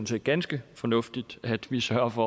set ganske fornuftigt at vi sørger for